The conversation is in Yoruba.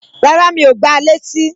Rárá, Mi ò gba létí